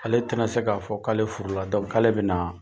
Ale te na se ka fɔ k'ale furula , k'ale be na